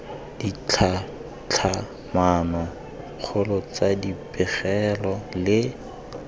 ditlhatlhamano kgolo tsa dipegelo le